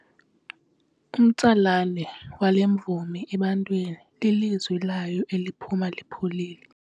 Umtsalane wale mvumi ebantwini lilizwi layo eliphuma lipholile.